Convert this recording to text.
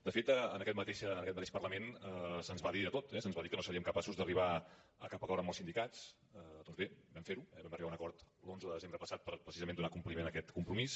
de fet en aquest mateix parlament se’ns va dir de tot eh se’ns va dir que no seríem capaços d’arribar a cap acord amb els sindicats doncs bé vam fer ho eh vam arribar a un acord l’onze de desembre passat per precisament donar compliment a aquest compromís